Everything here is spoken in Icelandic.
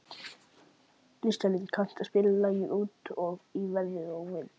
Listalín, kanntu að spila lagið „Út í veður og vind“?